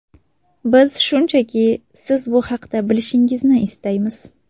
Biz shunchaki siz bu haqda bilishingizni istaymiz”.